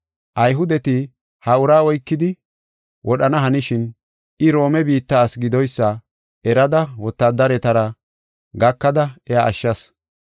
Ayhudeti ha uraa oykidi wodhana hanishin, I Roome biitta asi gidoysa erada wotaadaretara gakada iya ashshas.